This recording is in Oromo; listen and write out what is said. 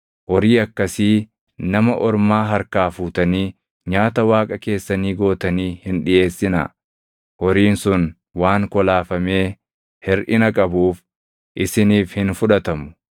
horii akkasii nama ormaa harkaa fuutanii nyaata Waaqa keessanii gootanii hin dhiʼeessinaa. Horiin sun waan kolaafamee hirʼina qabuuf isiniif hin fudhatamu.’ ”